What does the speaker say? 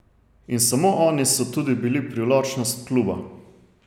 In samo oni so tudi bili privlačnost kluba.